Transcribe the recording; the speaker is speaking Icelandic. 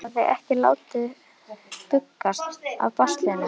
Hann hafði ekki látið bugast af baslinu.